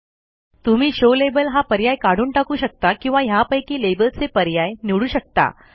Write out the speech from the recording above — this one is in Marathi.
तुम्ही शो लेबल हा पर्याय काढून टाकू शकता किंवा ह्यापैकी लेबलचे पर्याय निवडू शकता